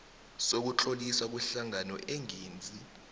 sokutloliswa kwehlangano engenzi